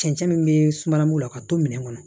Cɛncɛn min be suma la ka to minɛn kɔnɔ